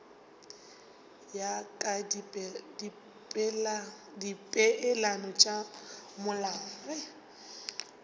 ya ka dipeelano tša molao